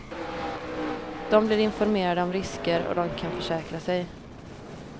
De blir informerade om risker och de kan försäkra sig.